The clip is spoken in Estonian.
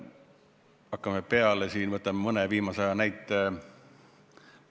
Hakkame peale, võtame mõne viimase aja näite.